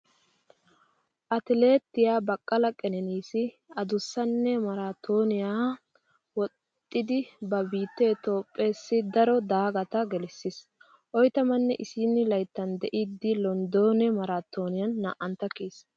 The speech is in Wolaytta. Atileetiyaa Baqala Qeneniisi adussasaanne maaraatooniyaa woxxidi ba biittee Toophpheessi daro daagata gelissiis. Oytamanne isiini layttan de'iiddi Londone maaraatooniyan naa'antta kiyiis.